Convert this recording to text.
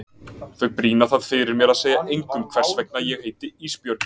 Þau brýna það fyrir mér að segja engum hvers vegna ég heiti Ísbjörg.